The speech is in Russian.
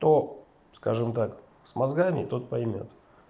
кто скажем так с мозгами тот поймёт